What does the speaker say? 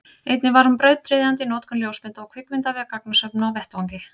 einnig var hún brautryðjandi í notkun ljósmynda og kvikmynda við gagnasöfnun á vettvangi